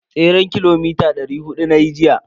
Tseren kilomita dari hudu nayi jiya.